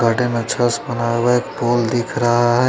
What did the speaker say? Garden अच्छा से बना हुआ है एक पोल दिख रहा है।